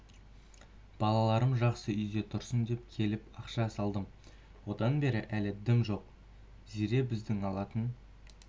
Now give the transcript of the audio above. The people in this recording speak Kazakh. балаларым жақсы үйде тұрсын деп келіп ақша салдым одан бері әлі дым жоқ зере біздің алатын